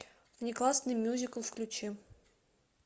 внеклассный мюзикл включи